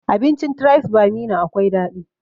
Abincin tribes by meena akwai daɗi